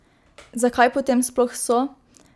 Zakaj potem sploh so?